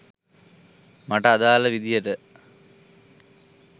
මට අදාළ විදියට